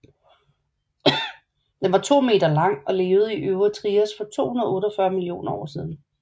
Den var omkring 2 meter lang og levede i øvre Trias for 248 millioner år siden